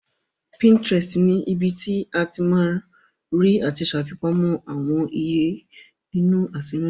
Pinterest ni ibi tí o ti ma rí àti ṣàfipamọ́ àwọn ìyè inú àtinúdá